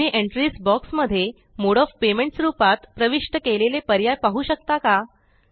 तुम्हीEntries box मध्ये mode of payments रूपात प्रविष्ट केलेले पर्याय पाहु शकता का